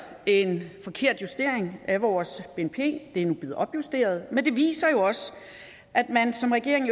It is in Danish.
en forkert justering af vores bnp det er nu blevet opjusteret men det viser jo også at man som regering